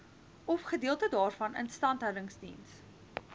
ofgedeelte daarvan instandhoudingsdiens